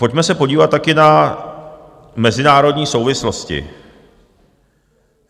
Pojďme se podívat také na mezinárodní souvislosti.